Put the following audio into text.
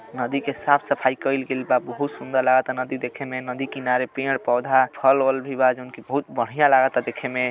नदी के साफ सफाई कइल गइल बा। बहुत सुन्दर लागता नदी देखे में। नदी किनारे पेड़ पौधा फल वाल भी बा जोन कि बहुत बढ़िया लागता देखे में।